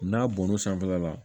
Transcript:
N'a bɔr'o sanfɛla la